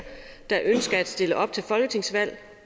der ønsker at stille op til folketingsvalg